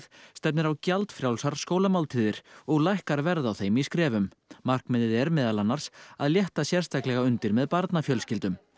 stefnir á gjaldfrjálsar skólamáltíðir og lækkar verð á þeim í skrefum markmiðið er meðal annars að létta sérstakalega undir með barnafjölskyldum